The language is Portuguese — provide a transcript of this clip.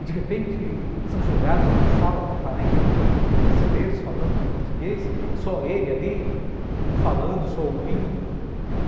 E de repente, eles são jogados numa sala com quarenta alunos brasileiros falando português, só ele ali, não falando, só ouvindo.